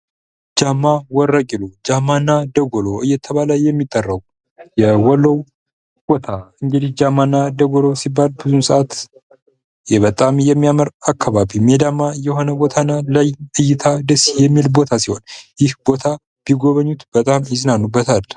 ጃማ ደጎሎ በአማራ ክልል ሰሜን ሸዋ ዞን ውስጥ የምትገኝ አንዲት ውብና ታሪካዊ ወረዳ ስትሆን በተፈጥሮአዊ መስህቦቿና በልዩ ጂኦግራፊያዊ አቀማመጧ ትታወቃለች።